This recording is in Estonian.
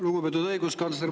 Lugupeetud õiguskantsler!